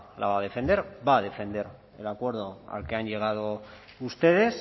la va a defender va a defender el acuerdo al que han llegado ustedes